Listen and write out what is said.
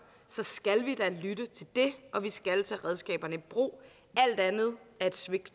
så skal vi da lytte til det og vi skal tage redskaberne i brug alt andet er et svigt